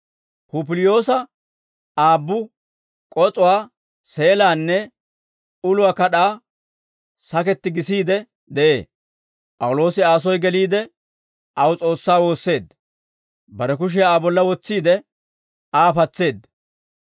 Pupiliyoosa aabbu k'os'uwaa, seelaanne uluwaa kad'aa saketti gisiide de'ee; P'awuloosi Aa soy geliide, aw S'oossaa woosseedda; bare kushiyaa Aa bolla wotsiide, Aa patseedda.